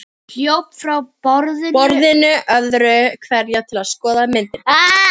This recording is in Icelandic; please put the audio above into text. Hljóp frá borðinu öðru hverju til að skoða myndirnar.